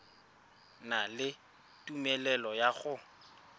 na le tumelelo ya go